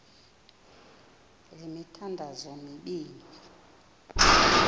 le mithandazo mibini